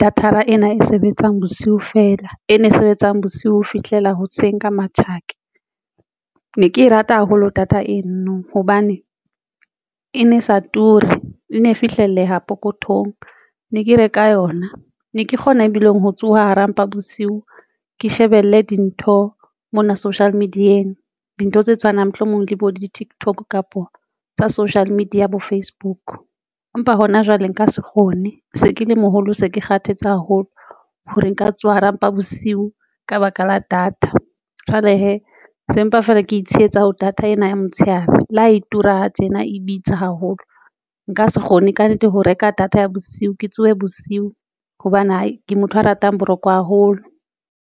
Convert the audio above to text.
data-ra ena e sebetsang bosiu fela e ne sebetsang bosiu ho fihlela hoseng ka matjhaka ne ke rata haholo data eno, hobane e ne sa ture e ne fihlelleha pokothong ne ke reka yona ne ke kgona ebileng ho tsoha hara mpa bosiu, ke shebelle dintho mona social media-eng dintho tse tshwanang mohlomong le bo di-TikTok kapa tsa social media bo Facebook. Empa hona jwale nka se kgone se ke le moholo. Se ke kgathetse haholo hore nka tswa hara mpa bosiu ka baka la data jwale hee sempa feela, ke tshehetsa ho data ena ya motshehare le ha e tura tjena e bitsa haholo, nka se kgone kannete ho reka data ya bosiu ke tsohe bosiu hobane ha ke motho a ratang boroko haholo.